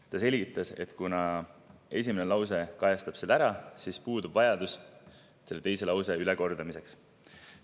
Ta selgitas, et esimene lause kajastab selle ära ja puudub vajadus selle lause ülekordamiseks.